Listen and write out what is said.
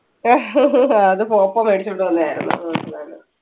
അത് മേടിച്ചോണ്ട് വന്നയാരുന്നു.